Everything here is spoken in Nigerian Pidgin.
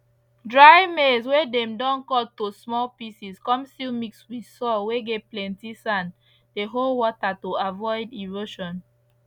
dry maize whey dem don cut to small pieces come still mix with soil whey get plenty sand dey hold water to avoid erosion